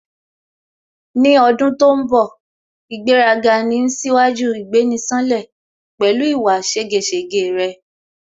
Ní ọdún tó ń bọ̀ ' ìgbéraga ni ń ṣíwájú ìgbéni-ṣánlẹ̀" pẹ̀lú ìwà ségesège rẹ̀